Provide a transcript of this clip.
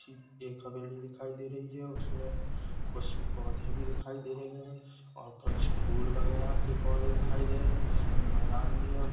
एक हवेली दिखाई दे रही हे उसमे कुछ पौधे भी दिखाई दे रहे हे और कुछ फूल वागेरह के पौधे भी दिखाई दे रहे हे जिस मे मेदान भी है ओर--